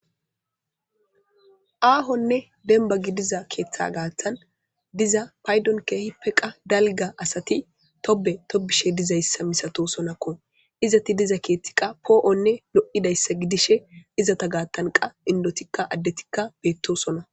Aahonne dembagi diza keeththa gaaththan diza paydon keehi peqa dalga asati tobe tobishe dizayssa misato sonakko izati diza keethtiqa poo'onne lo'idayssa gidishe izata gaattanqa indotikka addetikka beettosona.